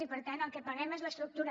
i per tant el que paguem és l’estructura